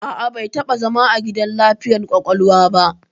A'a, bai taɓa zama a gidan lafiyar ƙwaƙwalwa ba.